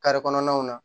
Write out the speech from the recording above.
kɔnɔnaw na